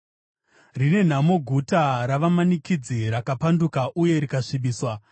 Rine nhamo guta ravamanikidzi, rakapanduka uye rikasvibiswa!